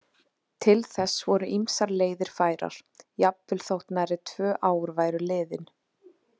Til þess voru ýmsar leiðir færar, jafnvel þótt nærri tvö ár væru liðin.